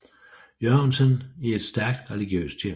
Jørgensen i et stærkt religiøst hjem